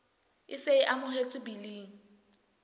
e se e amohetswe biling